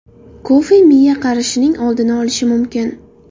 Kofe miya qarishining oldini olishi mumkin.